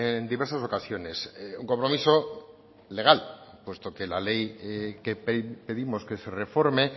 en diversas ocasiones un compromiso legal puesto que la ley que pedimos que se reforme